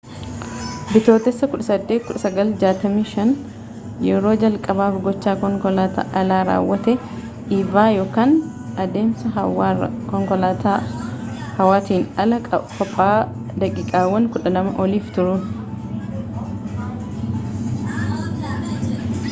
bitootessa 18 1965 yeroo jalqabaaf gochaa konkolataan alaa raawwate eva yookaan deemsa hawwaarraa” konkolaataa hawaatiin ala qobaa daqiiqaawwan 12 oliif turuun